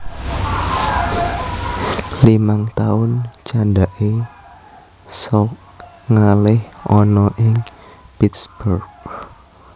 Limang taun candhake Salk ngalih ana ing Pittsburgh